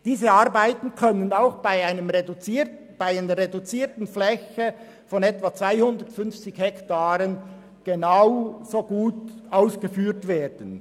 Diese Arbeiten können genauso gut mit einer reduzierten Fläche von etwa 250 Hektaren ausgeführt werden.